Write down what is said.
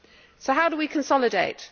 So how do we consolidate?